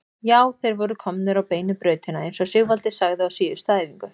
Já, þeir voru komnir á beinu brautina eins og Sigvaldi sagði á síðustu æfingu.